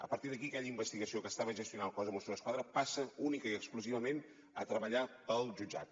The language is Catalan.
a partir d’aquí aquella investigació que estava gestionant el cos de mossos d’esquadra passa únicament i exclusivament a treballar pel jutjat